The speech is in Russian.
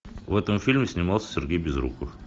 в этом фильме снимался сергей безруков